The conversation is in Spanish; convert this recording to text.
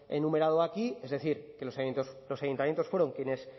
enumerado aquí es decir que los ayuntamientos fueron quienes